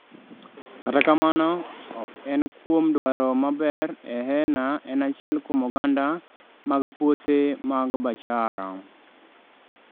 Kata kamano ok en kuom dwaro maber Heena en achiel kuom oganda mag puothe mag Bacchara